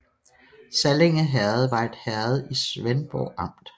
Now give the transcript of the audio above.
Sallinge Herred var et herred i Svendborg Amt